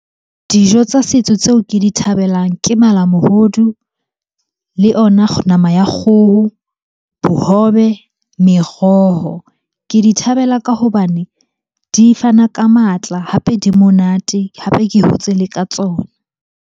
Dijo tsa setso tseo ke di thabelang ke malamohodu le ona nama ya kgoho, bohobe, meroho. Ke di thabela ka hobane di fana ka matla, hape di monate, hape ke hotse le ka tsona.